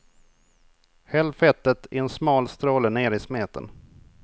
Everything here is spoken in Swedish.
Häll fettet i en smal stråle ner i smeten.